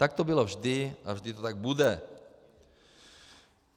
Tak to bylo vždy a vždy to tak bude.